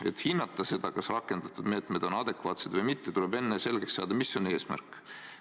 Et hinnata seda, kas rakendatud meetmed on adekvaatsed või mitte, tuleb enne selgeks saada, mis on eesmärk.